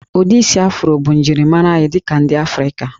Ụdị isi Afro bụ njirimara anyị dị ka ndị Afrịka